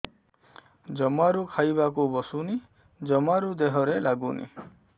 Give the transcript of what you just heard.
ଜମାରୁ ଖାଇବାକୁ ବସୁନି ଜମାରୁ ଦେହରେ ଲାଗୁନି